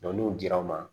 n'u dir'u ma